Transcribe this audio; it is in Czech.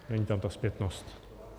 Není tam ta zpětnost.